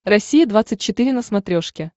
россия двадцать четыре на смотрешке